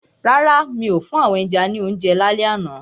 Rárá, mi ò fún àwọn ẹja lounje lálẹ́ àná.